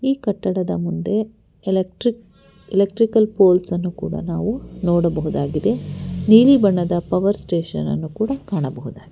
ಈ ಕಟ್ಟಡದ ಮುಂದೆ ಎಲೆಕ್ಟ್ರಿಕ್ ಎಲೆಕ್ಟ್ರಿಕಲ್ ಪೋಲ್ಸನ್ನು ಕೂಡ ನಾವು ನೋಡಬಹುದಾಗಿದೆ ನೀಲಿ ಬಣ್ಣದ ಪವರ್ ಸ್ಟೇಷನ್ ಅನ್ನು ಕೂಡ ಕಾಣಬಹುದಾಗಿ--